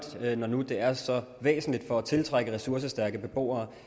når nu det er så væsentligt for at tiltrække ressourcestærke beboere